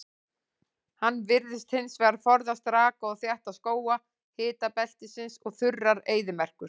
Hann virðist hins vegar forðast raka og þétta skóga hitabeltisins og þurrar eyðimerkur.